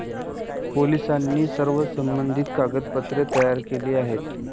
पोलिसांनी सर्व संबंधित कागदपत्रे तयार केली आहेत.